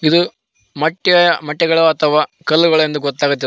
ಇದು ಮೊಟ್ಟೆ ಮೊಟ್ಟೆಗಳು ಅಥವ ಕಲ್ಲುಗಳು ಎಂದು ಗೊತ್ತಾಗೋದಿಲ್ಲ.